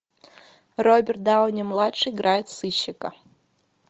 роберт дауни младший играет сыщика